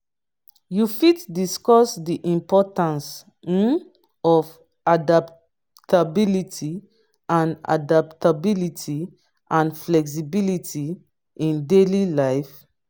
you fit discuss di importance um of adaptability and adaptability and flexibility in daily life.